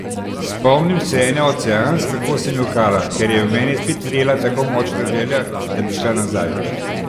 Spomnim se ene od seans, kako sem jokala, ker je v meni spet vrela tako močna želja, da bi šla nazaj.